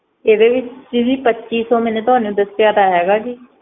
ਇਹਦੇ ਵਿਚ ਸੀ ਪੱਚੀ ਸੋ ਜੀ ਇਹ ਤਾ ਮੈ ਤੋਹਾਨੂ ਦੱਸਿਆ ਤਾਂ ਹੇਗਾ ਸੀ